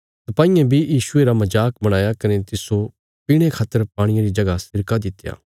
सपाईयें बी यीशुये रा मजाक बणाया कने तिस्सो पीणे खातर पाणिये रिया जगह सिरका दित्या